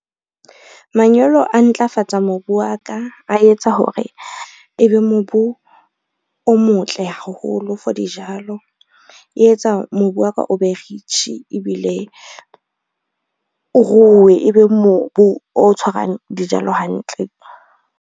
Manyolo a ntlafatsa mobu wa ka a etsa hore ebe mobu o motle haholo for dijalo, e etsa mobu wa ka o be rich ebile, o ruwe ebe mobu o tshwarang dijalo hantle.